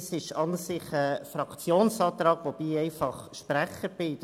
Es handelt sich eigentlich um einen Fraktionsantrag, wobei ich einfach der Sprecher bin.